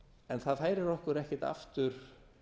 en það færir okkur ekki aftur